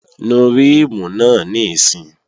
Nu ríìmù náà níìsín!